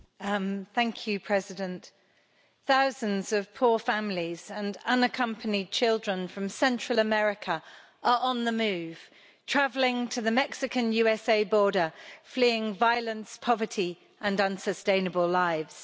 Madam President, thousands of poor families and unaccompanied children from Central America are on the move, travelling to the Mexican USA border fleeing violence, poverty and unsustainable lives.